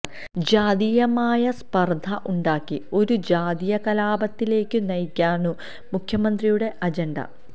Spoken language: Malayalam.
ജാതീയമായ സ്പർധ ഉണ്ടാക്കി ഒരു ജാതീയ കലാപത്തിലേക്കു നയിക്കാനാണു മുഖ്യമന്ത്രിയുടെ അജൻഡ